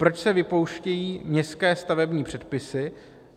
Proč se vypouštějí městské stavební předpisy?